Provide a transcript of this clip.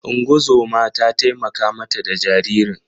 Ungozoma ta taimaka ma ta da jaririn.